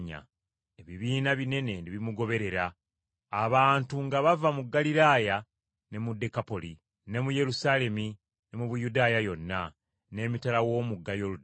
Ebibiina binene ne bimugoberera, abantu nga bava mu Ggaliraaya ne mu Dekapoli, ne mu Yerusaalemi ne mu Buyudaaya yonna, n’emitala w’omugga Yoludaani.